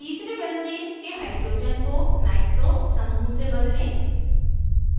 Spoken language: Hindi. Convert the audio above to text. तीसरे benzene benzene के hydrogen को nitro nitro समूह से बदलें